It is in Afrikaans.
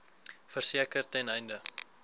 verseker ten einde